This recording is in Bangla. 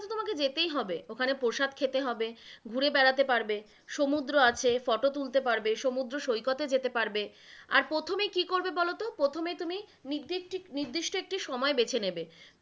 তোমাকে যেতেই হবে, ওখানে প্রসাদ খেতে হবে, ঘুরে বেড়াতে পারবে, সমুদ্র আছে, ফটো তুলতে পারবে, সমুদ্র সৈকতে যেতে পারবে, আর প্রথমে কি করবে বোলোত, প্রথমেই তুমি নির্দিষ্~ নির্দিষ্ট একটি সময় বেছে নেবে,